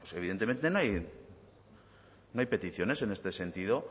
evidentemente no hay peticiones en este sentido